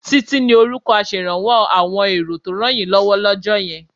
Títí ni orúkọ aṣèrànwọ́ àwọn èrò tó rànyínlọ́wọ́ lọ́jọ́ yẹn